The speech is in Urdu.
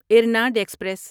ارناڈ ایکسپریس